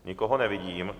Nikoho nevidím.